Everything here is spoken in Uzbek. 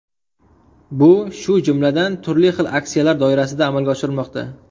Bu shu jumladan, turli xil aksiyalar doirasida amalga oshirilmoqda.